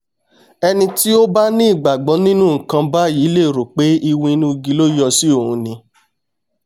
ẹni tí ó bá ní ìgbàgbọ́ nínú nǹkan báyìí lè rò pé iwin inú igi ló yọ sí òun ni!